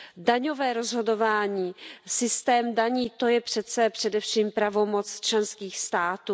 Daňové rozhodování, systém daní, to je přece především pravomoc členských států.